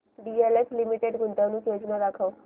DLF limited गुंतवणूक योजना दाखव